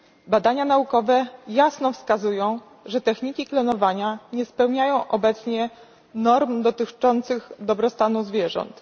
Badania naukowe jasno wskazują, że techniki klonowania nie spełniają obecnie norm dotyczących dobrostanu zwierząt.